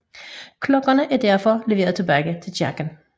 Klokkerne er derfor leveret tilbage til kirken